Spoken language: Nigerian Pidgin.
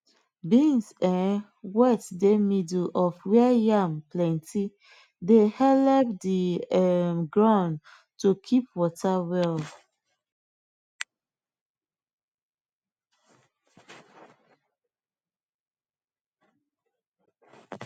beans um wet dey middle of where yam plenty dey helep the um ground to keep water well